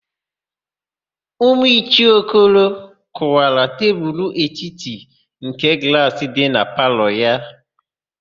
Ụmụ Ichie Okoro kụwara tebulu etiti nke glaasị dị na palọ ha.